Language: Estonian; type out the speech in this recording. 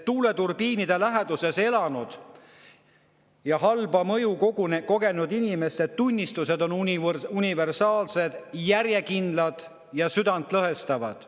Tuuleturbiinide läheduses elanud ja halba mõju kogenud inimeste tunnistused on universaalsed, järjekindlad ja südantlõhestavad.